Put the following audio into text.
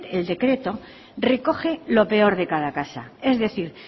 el decreto recoge lo peor de cada casa es decir